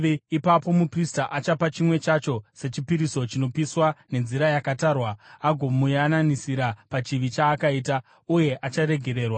Ipapo muprista achapa chimwe chacho sechipiriso chinopiswa nenzira yakatarwa agomuyananisira pachivi chaakaita, uye acharegererwa.